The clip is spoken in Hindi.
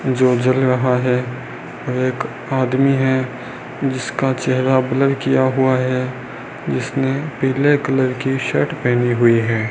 जो जल रहा है एक आदमी है जिसका चेहरा ब्लर किया हुआ है जिसने पीले कलर की शर्ट पहनी हुई है।